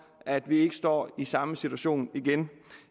at vi ikke står i samme situation igen